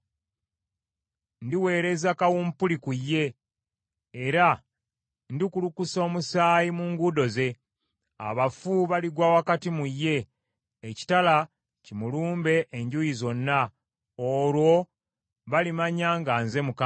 Ndiweereza kawumpuli ku ye, era ndikulukusa omusaayi mu nguudo ze. Abafu baligwa wakati mu ye, ekitala kimulumbe enjuuyi zonna. Olwo balimanya nga nze Mukama .